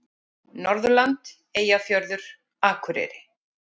Norðurland: Eyjafjörður, Akureyri.